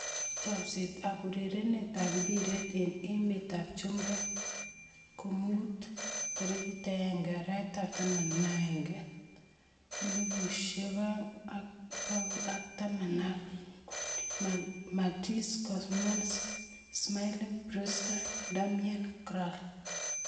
Chomset ab urerenet ab mbiret eng emet ab chumbek komuut 01.11.2019: Martinez, Coman, Smalling, Brewster, Darmian, Kral